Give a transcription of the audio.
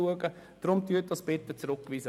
Weisen Sie die Vorlage deswegen bitte zurück.